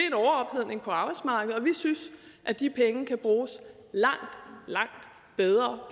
en overophedning på arbejdsmarkedet og vi synes at de penge kan bruges langt langt bedre